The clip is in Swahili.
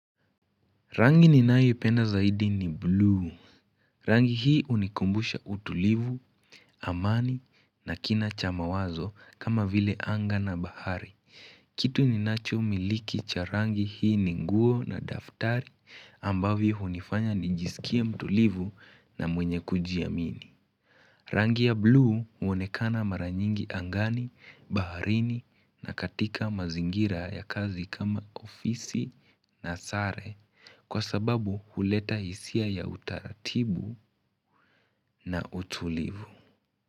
Rangi ninayo ipenda zaidi ni blue. Rangi hii unikumbusha utulivu, amani na kina chama wazo kama vile anga na bahari. Kitu ninacho miliki cha rangi hii ni nguo na daftari ambavyo unifanya nijisikie mtulivu na mwenye kujiamini. Rangi ya bluu uonekana mara nyingi angani, baharini na katika mazingira ya kazi kama ofisi na sare kwa sababu huleta hisia ya utaratibu na utulivu.